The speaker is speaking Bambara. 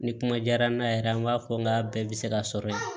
Ni kuma diyara n na yɛrɛ an b'a fɔ n ka bɛɛ bɛ se ka sɔrɔ yen